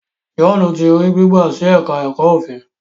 John tí rí gbigba sí èka èko òfin.